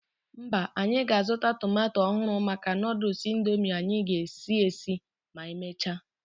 Mba, anyị ga-azụta tomato ọhụrụ maka Nụdụls Indomie anyị ga-esi esi ma emechaa.